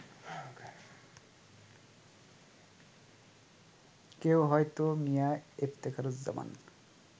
কেউ হয়তো মিয়া ইফতেখারুজ্জামান